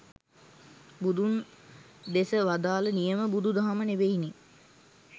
බුදුන් දෙස වදාළ නියම බුදු දහම නෙවෙයි නේ